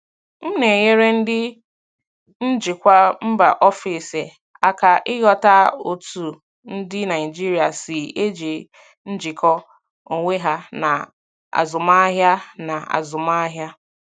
M na-enyere ndị njikwa mba ofesi aka ịghọta otú ndị Naijiria si eji njikọ onwe ha na azụmahịa. na azụmahịa.